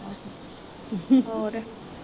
ਹੋਰ